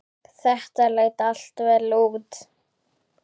Þetta leit allt vel út.